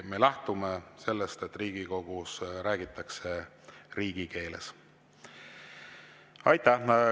Me lähtume sellest, et Riigikogus räägitakse riigikeeles.